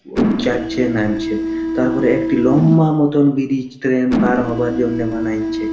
লোক যাচ্ছে নামছে তারপরে একটা লম্বা-আ মতন ব্রিজ ট্রেন পার হবার জন্য বানাইছে।